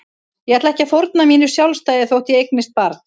Ég ætla ekki að fórna mínu sjálfstæði þótt ég eignist barn.